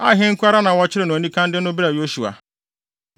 Ai hene nko ara na wɔkyeree no anikann de no brɛɛ Yosua.